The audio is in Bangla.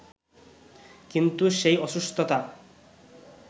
কিন্তু সেই অসুস্থতা